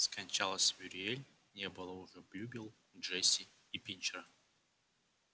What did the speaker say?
скончалась мюриель не было уже блюбелл джесси и пинчера